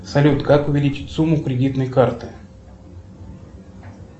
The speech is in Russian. салют как увеличить сумму кредитной карты